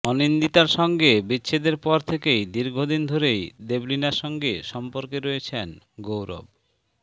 অনিন্দিতার সঙ্গে বিচ্ছেদের পর থেকেই দীর্ঘদিন ধরেই দেবলীনার সঙ্গে সম্পর্কে রয়েছেন গৌরব